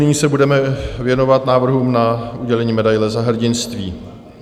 Nyní se budeme věnovat návrhům na udělení medaile Za hrdinství.